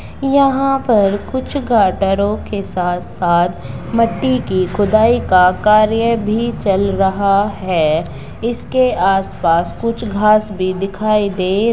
यहाँ पर कुछ गाटरों के साथ-साथ मट्टी के खुदाई का कार्य भी चल रहा है| इसके आस-पास कुछ घास भी दिखाई दे--